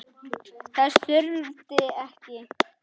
Þess þurfti ekki.